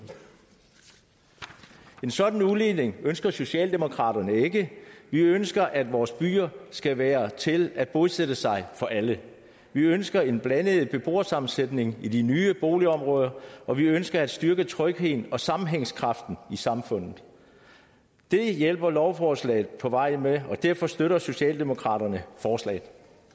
en sådan udligning ønsker socialdemokraterne ikke vi ønsker at vores byer skal være til at bosætte sig i for alle vi ønsker en blandet beboersammensætning i de nye boligområder og vi ønsker at styrke trygheden og sammenhængskraften i samfundet det hjælper lovforslaget på vej med og derfor støtter socialdemokraterne forslaget